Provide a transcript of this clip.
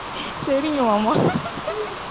சரிங்க மாமா